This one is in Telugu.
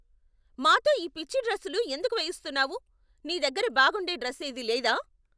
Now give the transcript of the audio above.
మాతో ఈ పిచ్చి డ్రస్సులు ఎందుకు వేయిస్తున్నావు? నీ దగ్గర బాగుండే డ్రస్సేదీ లేదా?